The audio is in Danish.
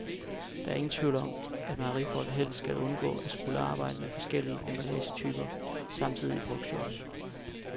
Der er ingen tvivl om, at mejerifolk helst havde undgået at skulle arbejde med flere forskellige emballagetyper samtidig i produktionen.